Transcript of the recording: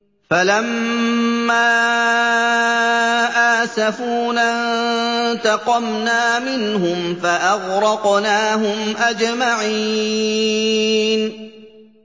فَلَمَّا آسَفُونَا انتَقَمْنَا مِنْهُمْ فَأَغْرَقْنَاهُمْ أَجْمَعِينَ